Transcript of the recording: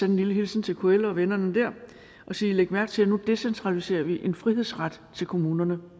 en lille hilsen til kl og vennerne der og sige læg mærke til at nu decentraliserer vi en frihedsret til kommunerne